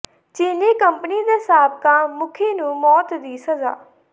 ਚੀਨੀ ਕੰਪਨੀ ਦੇ ਸਾਬਕਾ ਮੁਖੀ ਨੂੰ ਮੌਤ ਦੀ ਸਜ਼ਾ